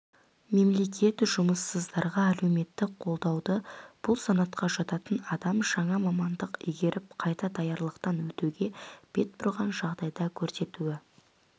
мемлекет жұмыссыздарға әлеуметтік қолдауды бұл санатқа жататын адам жаңа мамандық игеруіп қайта даярлықтан өтуге бет бұрған жағдайда көрсетуі